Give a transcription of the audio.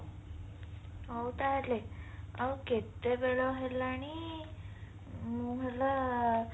ହଉ ତାହାଲେ ଆଉ କେତେବେଳ ହେଲାଣି ମୁଁ ହେଲା